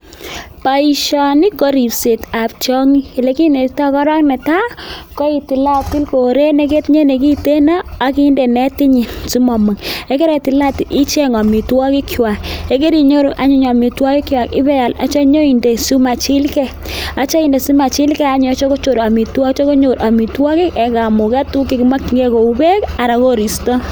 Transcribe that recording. Boishoni, ko ripsetab tiong'iik, ole kinetitoo korong ko netai, koitilatil koret neketinye nekiten ak indee netinyiin asimomong. Ye keritilatil icheng amitwogiikchwak ,ye karinyooru anyun amitwogikchwak ibeal ak yeityoo inyon indee simachilgee ak yeityo konyoor amitwogiik en kamugeet. Tuguk che kimokyingei kou beek Alan ko koriistoo.